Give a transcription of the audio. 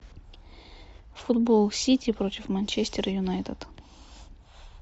футбол сити против манчестер юнайтед